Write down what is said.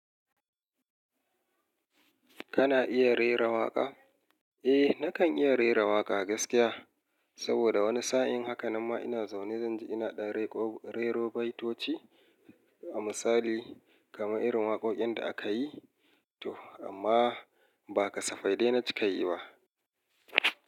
Kana iya rera waƙa? Eh nakan iya rera waƙa gaskiya. Saboda wani sa'in haka namma ina zaune zan ji ina ɗan rero baitoci a misali kamar irin waƙoƙin da aka yi to amma ba kasafai dai na cika yi ba.